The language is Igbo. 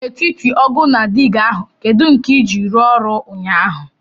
N'etiti ọgu na digá ahu kedu nke i ji ruo oru ụnyahụ?